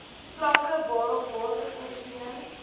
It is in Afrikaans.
vlakke waarop watervoorsiening